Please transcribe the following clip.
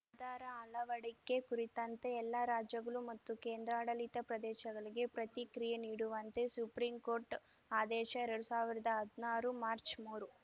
ಆಧಾರ ಅಳವಡಿಕೆ ಕುರಿತಂತೆ ಎಲ್ಲಾ ರಾಜ್ಯಗಳು ಮತ್ತು ಕೇಂದ್ರಾಡಳಿತ ಪ್ರದೇಶಗಳಿಗೆ ಪ್ರತಿಕ್ರಿಯೆ ನೀಡುವಂತೆ ಸುಪ್ರೀಂ ಕೋರ್ಟ್‌ ಆದೇಶ ಎರಡ್ ಸಾವಿರ್ದಾ ಹದ್ನಾರು ಮಾರ್ಚ್ಮೂರು